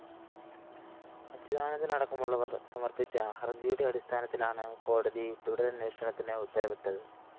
അച്യുതാനന്ദന്‍ അടക്കമുള്ളവര്‍ സമര്‍പ്പിച്ച ഹര്‍ജിയുടെ അടിസ്ഥാനത്തിലാണു കോടതി തുടരന്വേഷണത്തിന് ഉത്തരവിട്ടത്